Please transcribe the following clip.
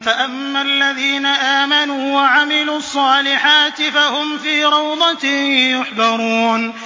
فَأَمَّا الَّذِينَ آمَنُوا وَعَمِلُوا الصَّالِحَاتِ فَهُمْ فِي رَوْضَةٍ يُحْبَرُونَ